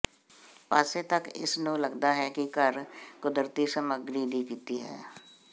ਪਾਸੇ ਤੱਕ ਇਸ ਨੂੰ ਲੱਗਦਾ ਹੈ ਕਿ ਘਰ ਕੁਦਰਤੀ ਸਮੱਗਰੀ ਦੀ ਕੀਤੀ ਹੈ